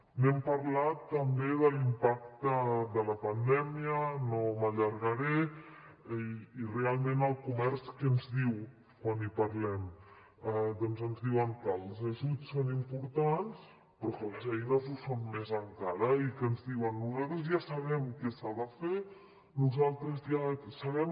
hem parlat també de l’impacte de la pandèmia no m’allargaré i realment el comerç què ens diu quan hi parlem doncs ens diuen que els ajuts són importants però que les eines ho són més encara i que ens diuen nosaltres ja sabem què s’ha de fer nosaltres ja sabem